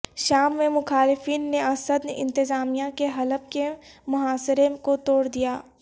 شام میں مخالفین نے اسد انتظامیہ کے حلب کے محاصرے کو توڑ دیا